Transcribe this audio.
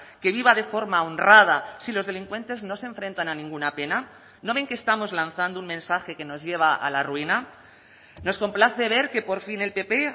que viva de forma honrada si los delincuentes no se enfrentan a ninguna pena no ven que estamos lanzando un mensaje que nos lleva a la ruina nos complace ver que por fin el pp